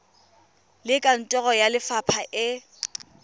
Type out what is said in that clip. le kantoro ya lefapha e